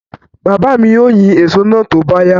Baba mi ó yín èso náà tó bá yá.